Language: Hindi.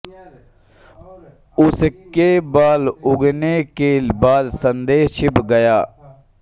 उसके बाल उगने के बाद संदेश छिप गया